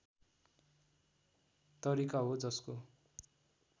तरिका हो जसको